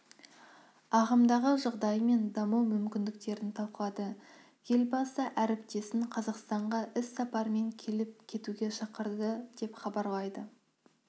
ағымдағы жағдайы мен даму мүмкіндіктерін талқылады елбасы әріптесін қазақстанға іссапармен келіп кетуге шақырды деп хабарлайды